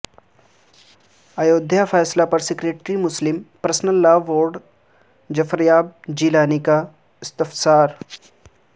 ایودھیا فیصلہ پر secretary Muslim personal law board Zafaryab Jilani کا استفسار